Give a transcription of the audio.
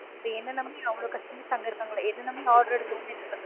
இப்ப என்ன நம்பி அவ்வளவு customers அங்க இருக்காங்கலா என்ன நம்பி order எடுத்தவங்க